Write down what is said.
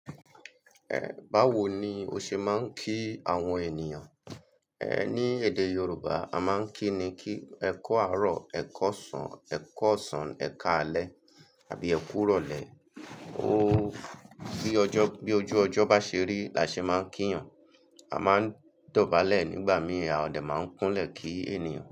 Ẹ̀, báwo ni o ṣe máa ń kí àwọn ènìyàn? Ẹ̀, ní èdè Yorùbá a máa ń kí ni kí, ẹ kọ́ àárọ̀, ẹ kọ́ ọ̀sán, ẹ kọ́ ọ̀sán, ẹ ká alẹ́ àbí ẹ kú rọ̀lẹ́. O, bí ọjọ́, bí ojú ọjọ́ bá ṣe rí la ṣe máa ń kí yàn. A máa ń dọ̀bálẹ̀ nígbà míì, a dẹ̀ máa ń kúnlẹ̀ kí ènìyàn.